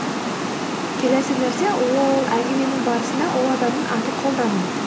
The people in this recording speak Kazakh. келесі нәрсе ол әңгіменің барысында ол адамның атын қолдану